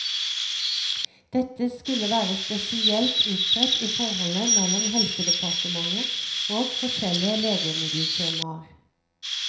Dette skulle være spesielt utbredt i forholdet mellom helsedepartementet og forskjellige legemiddelfirmaer.